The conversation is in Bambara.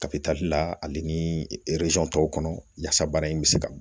Kafe tali la ale ni tɔw kɔnɔ yaasa bana in bi se ka